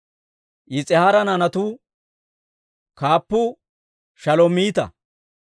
Yis'ihaara naanatuwaa kaappuu Shalomiita.